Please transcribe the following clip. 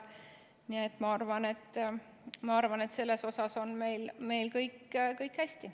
Nii et ma arvan, et selles osas on meil kõik hästi.